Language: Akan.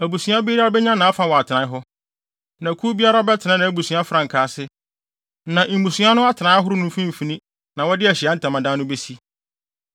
“Abusua biara benya nʼafa wɔ atenae hɔ, na kuw biara bɛtena nʼabusua frankaa ase. Na mmusua no atenae ahorow no mfimfini na wɔde Ahyiae Ntamadan no besi.”